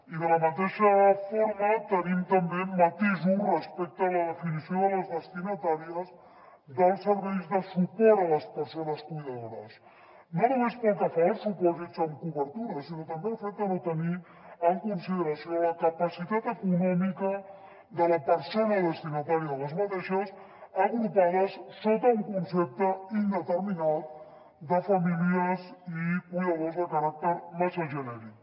i de la mateixa forma tenim també matisos respecte a la definició de les destinatàries dels serveis de suport a les persones cuidadores no només pel que fa als supòsits amb cobertura sinó també al fet de no tenir en consideració la capacitat econòmica de la persona destinatària d’aquestes agrupades sota un concepte indeterminat de famílies i cuidadors de caràcter massa genèric